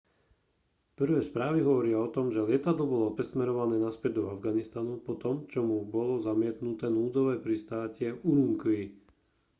prvé správy hovoria o tom že lietadlo bolo presmerované naspäť do afganistanu po tom čo mu bolo zamietnuté núdzové pristátie v ürümqi